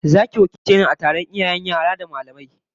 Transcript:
Zaki wakilce ni a taron iyayen yara da mallamai ageka